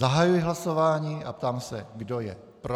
Zahajuji hlasování a ptám se, kdo je pro.